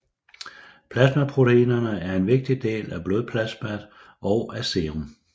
Plasmaproteinerne er en vigtig del af blodplasmaet og af serum